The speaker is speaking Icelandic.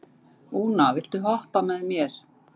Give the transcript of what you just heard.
Úna, viltu hoppa með mér?